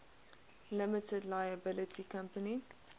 limited liability company